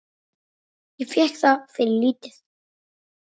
Ég fékk það fyrir lítið.